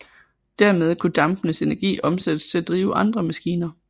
Dermed kunne dampens energi omsættes til at drive andre maskiner